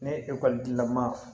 Ne ye ekɔlitigilama